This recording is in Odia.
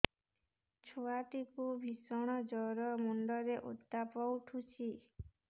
ଛୁଆ ଟା କୁ ଭିଷଣ ଜର ମୁଣ୍ଡ ରେ ଉତ୍ତାପ ଉଠୁଛି